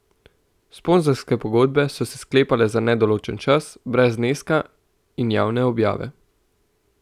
Sponzorske pogodbe so se sklepale za nedoločen čas, brez zneska in javne objave.